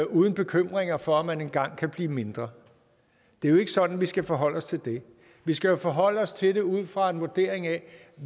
uden bekymringer for om man engang kan blive mindre det er jo ikke sådan vi skal forholde os til det vi skal forholde os til det ud fra en vurdering af